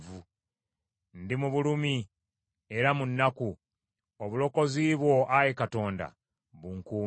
Ndi mu bulumi era mu nnaku; obulokozi bwo, Ayi Katonda, bunkuume.